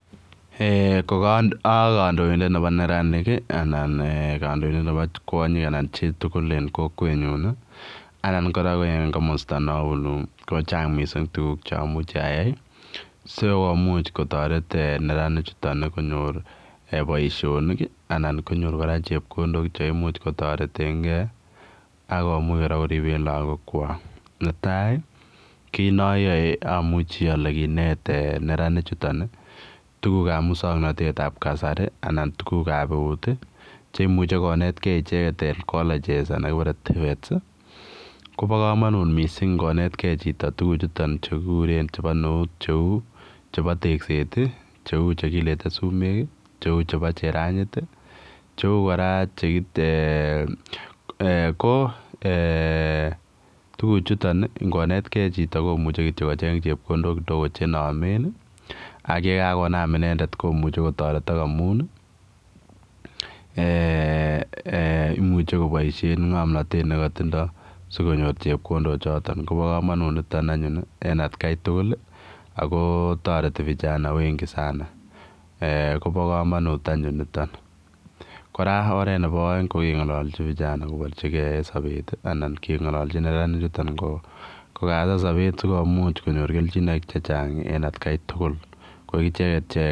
Eeh ko a kandoindet nebo neranik anan kandoindet nebo kwanyiik anan chii tugul en kokwet nyuun anan kora en komosta nabunu ko chaang missing tuguuk che amuchi ayai sikomuuch ataret neranik chutoon konyoor boisionik anan konyoor chepkondok cheimuuch kotaret en gei akomuuch kora keribeen lagook kwaak ne tai ii kiit ne ayae amuchei ale kineet neranik chutoon tuguuk ab musangnatet ab kasari anan tuguuk ab eut ii cheimuiche konetkei icheek en [colleges] anan kipare[TVETs] koba kamanut missing che bo neut che uu chebo tekseet ii che uu che kilete sumeeg ii che uu chebochebo cheranyiit ii che uu chebo che kora ko eeh tuguuk chutoon ingo netkei chitoo komuchei kityoi kocheeng chepkondok che nameen ii ak ye kagonam inendet komuchei kotaretak amuun ii eeh imuche kobaisheen ngomnatet nekatindoi sikonyoor chepkondok chotoon kobaa kamanuut nitoon anyuun en at Kai tugul ii ako taretii vijana wengi sana eeh koba kamanut anyuun nitoon kora oret nebo aeng ko kengalachii vijana kobarjigei en sabeet ii anan kengalachii vijana ichutoon ko kasaan sabeet sikomuuch konyoor keljinaik che chaang en at Kai tugul ko ichegeet.